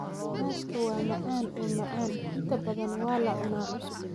Cananaaska waa macaan oo macaan, inta badan waa la cunaa cusub.